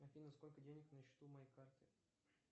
афина сколько денег на счету моей карты